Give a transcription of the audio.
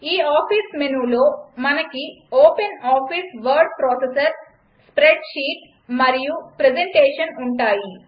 ఈ ఆఫీస్ మెనూలో మనకి ఓపెన్ఆఫీస్ వర్డ్ ప్రాసెసర్ స్ప్రెడ్షీట్ మరియు ప్రజంటేషన్ ఉంటాయి